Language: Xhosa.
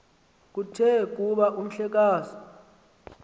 kuthe kuba umhlekazi